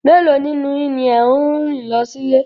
Mélòó nínú yín ni ẹ̀ ń rìn lọ sí ilé